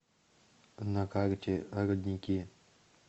на карте родники